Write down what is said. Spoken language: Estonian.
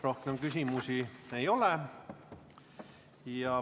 Rohkem küsimusi ei ole.